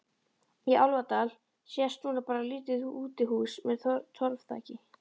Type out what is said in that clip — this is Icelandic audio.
Í Álfadal sést núna bara lítið útihús með torfþaki.